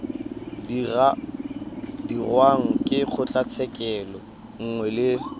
dirwang ke kgotlatshekelo nngwe le